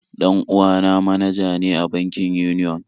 Dan uwa na manaja ne a bankin Union